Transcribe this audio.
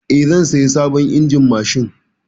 Eh, zan saya sabon injin mashin.